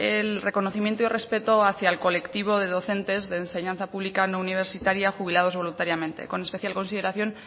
el reconocimiento y respeto hacia el colectivo de docentes de enseñanza pública no universitaria jubilados voluntariamente con especial consideración